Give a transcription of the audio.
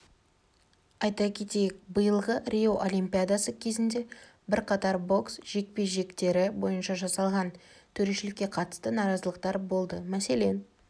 айта кетейік биылғы рио олимпиадасы кезінде бірқатар бокс жекпе-жектері бойынша жасалған төрешелікке қатысты наразылықтар болды мәселен